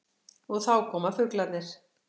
Og þá koma fuglarnir.